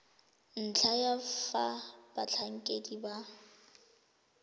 ntlha ya fa batlhankedi ba